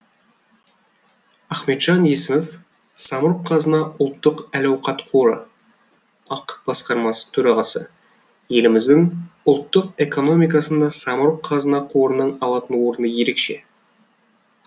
ахметжан есімов самұрық қазына ұлттық әл ауқат қоры ақ басқарма төрағасы еліміздің ұлттық экономикасында самұрық қазына қорының алатын орны ерекше